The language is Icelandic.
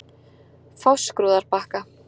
Fáskrúðarbakka